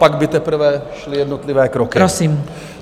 Pak by teprve šly jednotlivé kroky.